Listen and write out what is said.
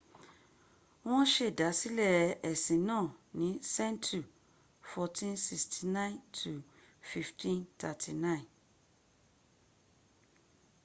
wọ́n sèdásílẹ̀ ẹ̀sìn náà ní sẹ́ńtu 1469–1539